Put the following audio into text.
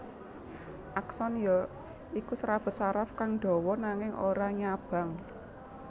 Akson ya iku serabut saraf kang dawa nanging ora nyabang